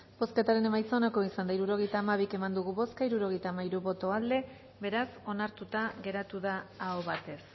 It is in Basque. bozketaren emaitza onako izan da hirurogeita hamairu eman dugu bozka hirurogeita hamairu boto aldekoa beraz onartuta geratu da aho batez